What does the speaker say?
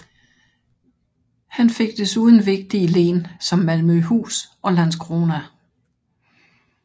Han fik desuden vigtige len som Malmøhus og Landskrona